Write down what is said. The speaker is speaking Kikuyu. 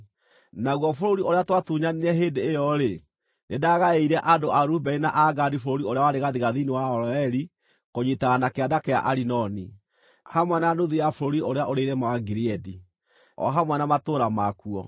Naguo bũrũri ũrĩa twatunyanire hĩndĩ ĩyo-rĩ, nĩndagaĩire andũ a Rubeni na a Gadi bũrũri ũrĩa warĩ gathigathini wa Aroeri kũnyiitana na kĩanda kĩa Arinoni, hamwe na nuthu ya bũrũri ũrĩa ũrĩ irĩma wa Gileadi, o hamwe na matũũra makuo.